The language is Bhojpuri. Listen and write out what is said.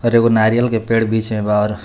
और एगो नारियल के पेड़ बीच में बा .]